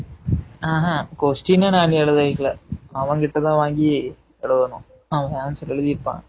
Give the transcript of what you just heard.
ஆஹ் ஹா question யே நான் இன்னும் எழுதி வைக்கல அவன் கிட்ட தான் வாங்கி எழுதணும் அவன் answer எழுதிருப்பான்